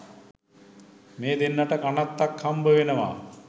මේ දෙන්නට කනත්තක් හම්බෙනවා.